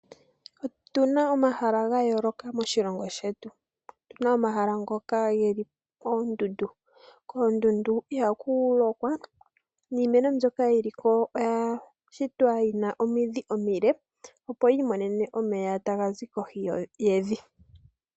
Otuna omahala ga yooloka moshilongo shetu. Opuna omahala ngoka geli koondundu. Koondundu ihaku lokwa, niimeno mbyoka yili ko oya shitwa yina omidhi omile, opo yi mone omeya taga zi kohi yevi.